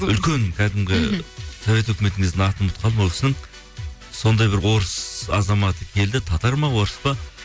үлкен кәдімгі мхм совет үкіметі кезінде атын ұмытып қалдым ол кісінің сондай бір орыс азаматы келді татар ма орыс па